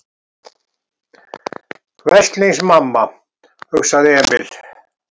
Veslings mamma, hugsaði Emil.